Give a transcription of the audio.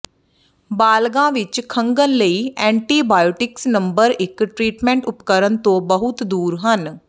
ਬਾਲਗ਼ਾਂ ਵਿਚ ਖੰਘਣ ਲਈ ਐਂਟੀਬਾਇਓਟਿਕਸ ਨੰਬਰ ਇਕ ਟਰੀਟਮੈਂਟ ਉਪਕਰਣ ਤੋਂ ਬਹੁਤ ਦੂਰ ਹਨ